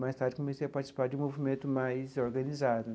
Mais tarde, comecei a participar de um movimento mais organizado.